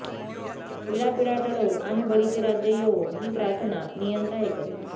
इडापिडा टळो आणि बळीचे राज्य येवो ही प्रार्थना नियंता ऐकत